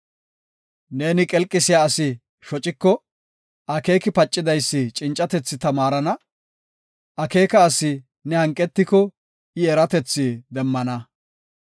Neeni qelqisiya asi shociko, akeeki pacidaysi cincatethi tamaarana; akeeka asi ne hanqetiko, I eratethi demmana.